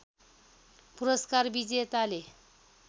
पुरस्कार विजेताले